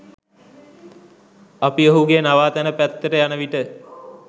අපි ඔහුගේ නවාතැන පැත්තට යන විට